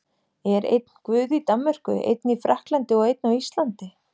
Er einn Guð í Danmörku, einn í Frakklandi og einn á Íslandi?